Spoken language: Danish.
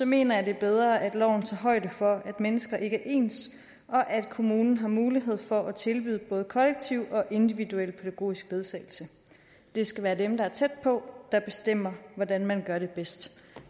mener jeg det er bedre at loven tager højde for at mennesker ikke er ens og at kommunen har mulighed for at tilbyde både kollektiv og individuel pædagogisk ledsagelse det skal være dem der er tæt på der bestemmer hvordan man gør det bedst